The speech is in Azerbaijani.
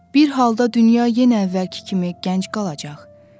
Bir halda dünya yenə əvvəlki kimi gənc qalacaq.